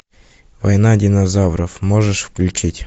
война динозавров можешь включить